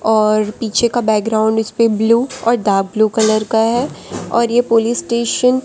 और पीछे का बैकग्राउंड इसपे ब्लू और डार्क ब्लू कलर का है और ये पुलिस स्टेशन --